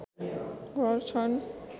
घर छन्